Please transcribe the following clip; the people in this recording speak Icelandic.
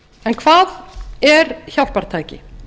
en hvað er hjálpartæki